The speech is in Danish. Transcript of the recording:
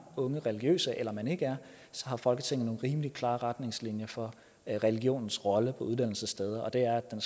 unge religiøse eller man ikke er så har folketinget rimelig klare retningslinjer for regionens rolle på uddannelsessteder og det er at